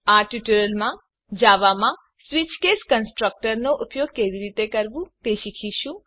આ ટ્યુટોરીયલમાં જાવામાં સ્વીચ કેસ કન્સટ્રક નો ઉપયોગ કેવી રીતે કરવું તે શીખીશું